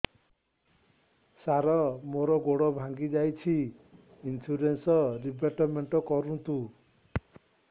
ସାର ମୋର ଗୋଡ ଭାଙ୍ଗି ଯାଇଛି ଇନ୍ସୁରେନ୍ସ ରିବେଟମେଣ୍ଟ କରୁନ୍ତୁ